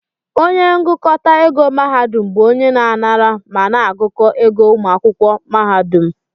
Onye ngụkọta ego mahadum bụ onye na-anara ma na-agụkọ ego ụmụ akwụkwọ mahadum